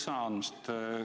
Aitäh sõna andmast!